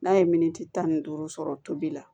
N'a ye miniti tan ni duuru sɔrɔ tobili la